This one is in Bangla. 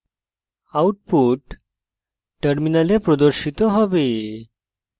output terminal প্রদর্শিত হবে